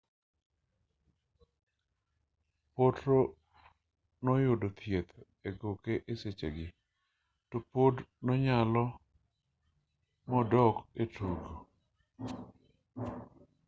potro noyudo thieth egoke esechegi topod nonyalo modok etugo